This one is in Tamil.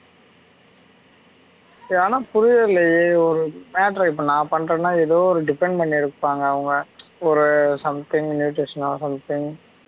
ஆனா புரியவே இல்லையே ஒரு matter அ இப்போ நான் பண்றேன்னா எதோ depend பண்ணி இருப்பாங்க அவுங்க ஒரு something nutrition ஓ something